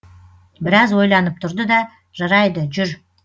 біраз ойланып тұрды да жарайды жүр